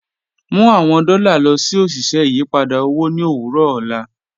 Mu awọn dọ́lá lọ sí oṣiṣẹ́ ìyìpadà owo ni owurọ ọlá